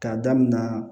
K'a daminɛ